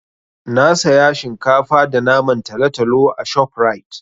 Na saya shinkafa da naman talotalo a ShopRite.